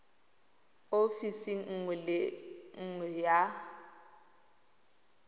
ofising nngwe le nngwe ya